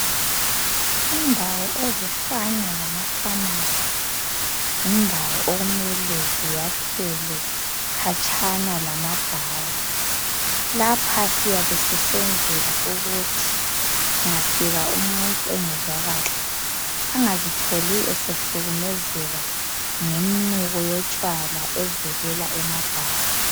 Indawo ezifana lamafamasi yindawo okumele ziyakhelwe khatshana lamabhawa lapha siyabe sisenzela ukuthi kungafika umuntu engezwa kahle angazitholi esehlukumezeka ngomnuko yamatshwala evelela emabhawa.